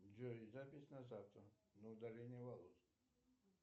джой запись на завтра на удаление волос